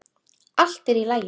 Allt er í lagi.